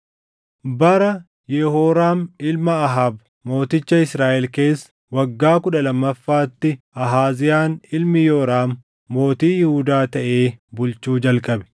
Bara Yehooraam ilma Ahaab mooticha Israaʼel keessa waggaa kudha lammaffaatti Ahaaziyaan ilmi Yooraam mootii Yihuudaa taʼee bulchuu jalqabe.